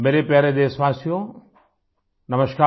मेरे प्यारे देशवासियोनमस्कार